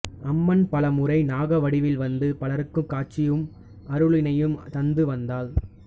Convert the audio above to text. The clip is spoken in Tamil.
அம்மன் பல முறை நாக வடிவில் வந்து பலருக்கு காட்சியும் அருளினையும் தந்து வந்தாள்